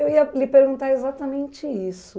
Eu ia lhe perguntar exatamente isso.